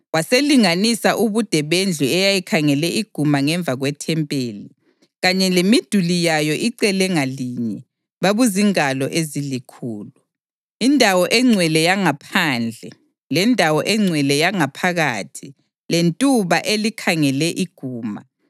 Waselinganisa ubude bendlu eyayikhangele iguma ngemva kwethempeli, kanye lemiduli yayo icele ngalinye; babuzingalo ezilikhulu. Indawo engcwele yangaphandle, lendawo engcwele yangaphakathi lentuba elikhangele iguma,